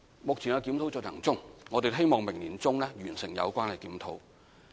目前檢討正在進行中，我們希望明年年中可以完成。